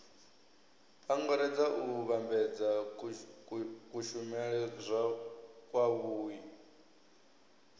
angaredza u vhambedza kushumele kwavhui